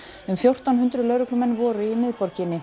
um fjórtán hundruð lögreglumenn voru í miðborginni